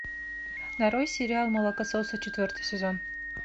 нарой сериал молокососы четвертый сезон